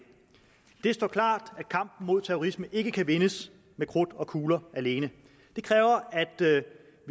det står klart at kampen mod terrorisme ikke kan vindes med krudt og kugler alene det kræver